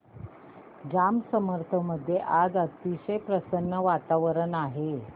जांब समर्थ मध्ये आज अतिशय प्रसन्न वातावरण आहे